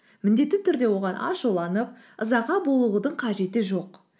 міндетті түрде оған ашуланып ызаға бұлығудың қажеті жоқ